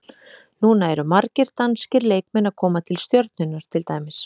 Núna eru margir danskir leikmenn að koma til Stjörnunnar til dæmis.